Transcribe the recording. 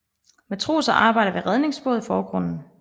Matroser arbejder ved redningsbåd i forgrunden